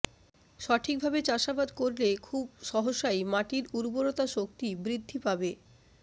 সঠিকভাবে চাষাবাদ করলে খুব সহসাই মাটির উর্বরতা শক্তি বৃদ্ধি পাবে